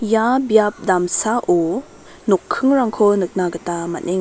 ia biapo damsao nokkingrangko nikna gita man·eng--